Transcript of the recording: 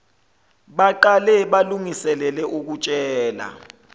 baqale balungiselele ukutshela